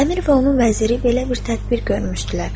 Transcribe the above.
Əmir və onun vəziri belə bir tədbir görmüşdülər.